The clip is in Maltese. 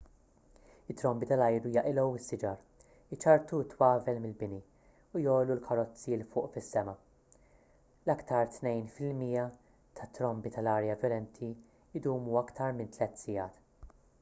it-trombi tal-arja jaqilgħu s-siġar iċarrtu t-twavel mill-bini u jgħollu l-karozzi l fuq fis-sema l-iktar tnejn fil-mija tat-trombi tal-arja vjolenti jdumu iktar minn tliet sigħat